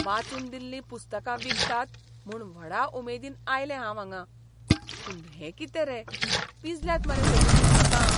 वाचून दिल्लीं पुस्तकां विकतात म्हूण व्हडा उमेदीन आयलें हांव हांगां. पूण हें कितें रे, पिंजल्यांत मरे सगळीं पुस्तकां.